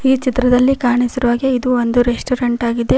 ಈ ಚಿತ್ರದಲ್ಲಿ ಕಾಣಿಸಿರುವ ಹಾಗೆ ಇದು ಒಂದು ರೆಸ್ಟೋರೆಂಟ್ ಆಗಿದೆ.